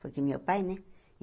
Porque meu pai, né?